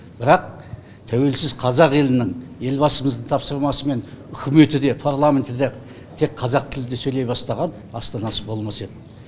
бірақ тәуелсіз қазақ елінің елбасымыздың тапсырмасымен үкіметі де парламенті де тек қазақ тілінде сөйлей бастаған астанасы болмас еді